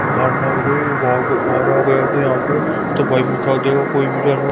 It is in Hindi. यहां पर ।